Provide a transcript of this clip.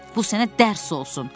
Bu sənə dərs olsun.